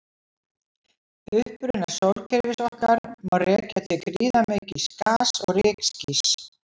Uppruna sólkerfis okkar má rekja til gríðarmikils gas- og rykskýs.